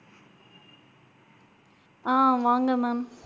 ஆஹ் வாங்க ma'am.